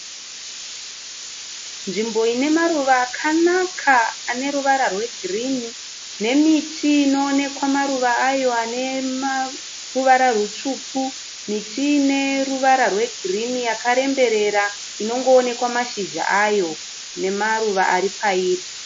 Nzvimbo ine maruva akanaka ane ruvara rwegirini nemiti inoonekwa maruva ayo ane ruvara rutsvuku miti ine ruvara rwegirini yakaremberera inongoonekwa mashizha ayo nemaruva ari pairi.